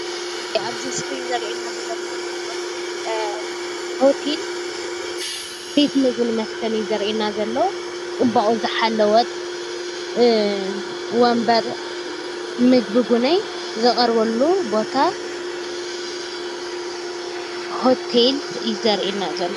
ኣብዚ ምስሊ እንረኦም ዘለና ሆቴል ፅባቅኡ ዝሓለወ ወንበር ምግቢ እውን ዝቀርበሉ ቦታ ሆቴል እዩ ዘርኢ ዘሎ ፡፡